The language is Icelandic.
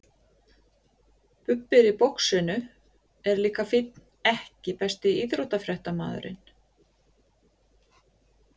Bubbi í boxinu er líka fínn EKKI besti íþróttafréttamaðurinn?